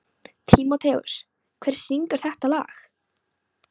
Tímoteus, hver syngur þetta lag?